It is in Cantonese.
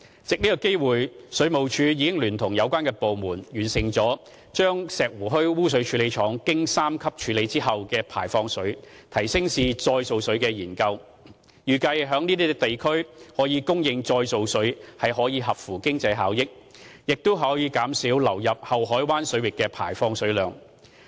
藉此機會，水務署已聯同有關部門，完成了把石湖墟污水處理廠經三級處理後的排放水提升至再造水的研究，預計在該等地區供應再造水可合乎經濟效益，並可減少流入后海灣水域的排放水量。